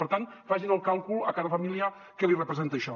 per tant facin el càlcul a cada família què li representa això